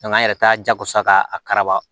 an yɛrɛ t'a jago sa k'araba